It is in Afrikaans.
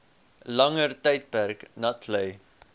langer tydperk natlei